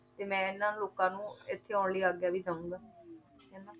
ਤੇ ਮੈਂ ਇਹਨਾਂ ਲੋਕਾਂ ਨੂੰ ਇੱਥੇ ਆਉਣ ਲਈ ਆਗਿਆ ਵੀ ਦੇਵਾਂਗਾ ਹਨਾ